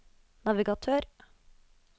navigatør